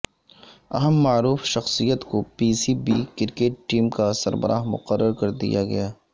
اہم معروف شخصیت کو P C B cricket committee کا سربراہ مقررکردیا گیا